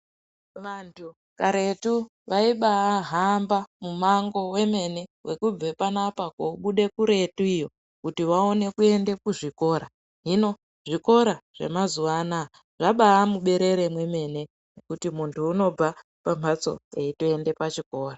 Vantu karetu vaiba vahamba mumango wemene wekubve panoapa kobude kuretu iyo, kuti vaone kuende kuzvikora, hino zvikora zvemazuwa ano zvabaamuberere mwemene mwekuti munhu unobve pamhatso eitoende kuchikora.